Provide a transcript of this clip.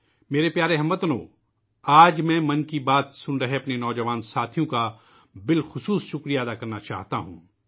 میرے پیارے ہم وطنو ، آج میں من کی بات سننے والے اپنے نوجوان ساتھیوں کا خصوصی طور پر شکریہ ادا کرنا چاہتا ہوں